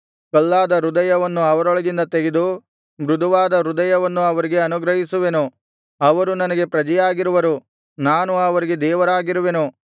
ಕಲ್ಲಾದ ಹೃದಯವನ್ನು ಅವರೊಳಗಿಂದ ತೆಗೆದು ಮೃದುವಾದ ಹೃದಯವನ್ನು ಅವರಿಗೆ ಅನುಗ್ರಹಿಸುವೆನು ಅವರು ನನಗೆ ಪ್ರಜೆಯಾಗಿರುವರು ನಾನು ಅವರಿಗೆ ದೇವರಾಗಿರುವೆನು